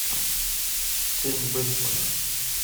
тень бэтмена